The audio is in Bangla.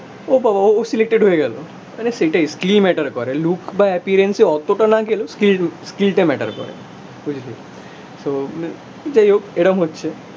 ও বাবা ও সিলেক্টেড হয়ে গেলো. আরে সেইটাই মানে স্কিল ম্যাটার করে. লুক বা অ্যাপিয়ারেন্স এ অতটা না গেলেও স্কিল স্কিলটা ম্যাটার করে করে তো যাইহোক এরম হচ্ছে